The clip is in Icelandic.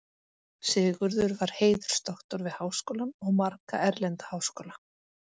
Sigurður var heiðursdoktor við Háskólann og marga erlenda háskóla.